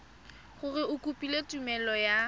gore o kopile tumelelo ya